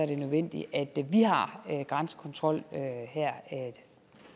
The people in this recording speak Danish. er nødvendigt at vi har grænsekontrol her